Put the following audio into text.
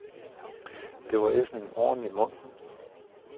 Det var ellers en ordentlig mundfuld.